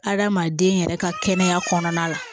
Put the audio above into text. Adamaden yɛrɛ ka kɛnɛya kɔnɔna la